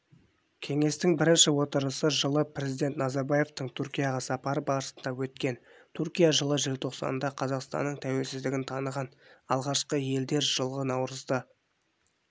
кеңестің бірінші отырысы жылы пркзидент назарбаевтың түркияға сапары барысында өткен түркия жылы желтоқсанда қазақстанның тәуелсіздігін таныған алғашқы ел елдер жылғы наурызда